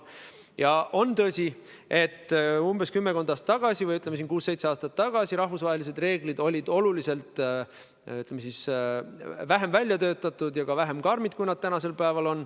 Ja on tõsi, et umbes kümmekond aastat või, ütleme, kuus-seitse aastat tagasi olid rahvusvahelised reeglid oluliselt vähem väljatöötatud ja ka vähem karmid, kui nad on tänasel päeval.